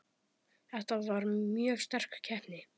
Þetta var mjög sterk keppni.